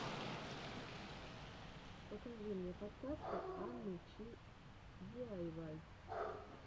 покажи мне подкасты анны чи диайвай